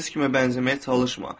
Heç kimə bənzəməyə çalışma.